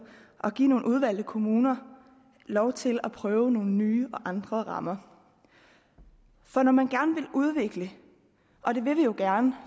at give nogle udvalgte kommuner lov til at prøve nogle nye og andre rammer for når man gerne vil udvikle og det vil vi jo gerne